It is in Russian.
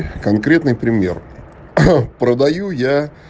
конкретный пример продаю я